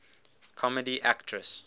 comedy actress golden